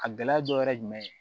A gɛlɛya dɔ wɛrɛ ye jumɛn ye